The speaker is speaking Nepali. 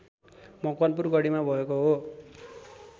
मकवानपुर गढीमा भएको हो